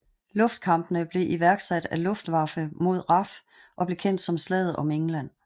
Luftkampene blev igangsat af Luftwaffe mod RAF og blev kendt som Slaget om England